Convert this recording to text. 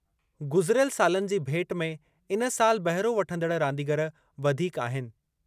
गुज़िरियल सालनि जी भेटु में इन साल बहिरो वठंदड़ रांदीगर वधीक आहिनि।